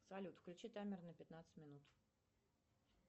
салют включи таймер на пятнадцать минут